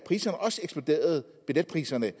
billetpriserne